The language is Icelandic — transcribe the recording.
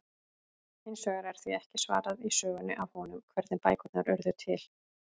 Hins vegar er því ekki svarað í sögunni af honum, hvernig bækurnar urðu til!?